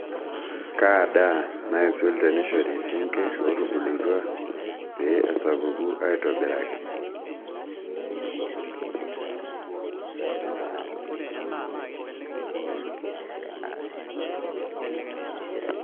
Kaa daa naisul teneishori sinkirr ootubulutua pee esapuku aitobiraki?